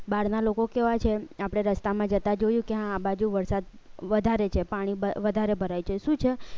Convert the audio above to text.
બહારના લોકો કેવા છે આપણે રસ્તામાં જતા જોયું કે આ બાજુ વરસાદ વધારે છે પાણી વધારે ભરાય છે શું છે